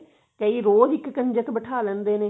ਕਈ ਰੋਜ ਹੀ ਇੱਕ ਕੰਜਕ ਬੈਠਾ ਲੈਂਦੇ ਨੇ